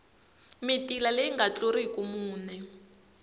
mitila leyi nga tluliki mune